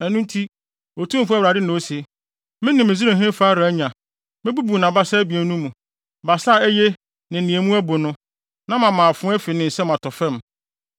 Ɛno nti, Otumfo Awurade na ose: Mene Misraimhene Farao anya; mebubu nʼabasa abien no mu; basa a eye ne nea mu abu no, na mama afoa afi ne nsam atɔ fam.